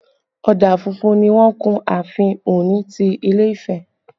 Ọ̀dà funfun ni wọ́n kun ààfin Ọ̀ọ̀ni ti ilé Ifẹ̀